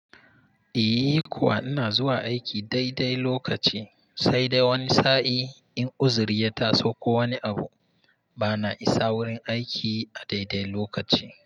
Iyh kuwa ina zuwa aiki daidai lokaci sai dai wani sa'in in uzuri ya ta so ko wani abu bana isa wurin aiki a daidai lokaci.